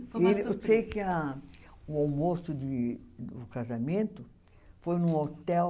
Eu sei que a o almoço de do casamento foi num hotel.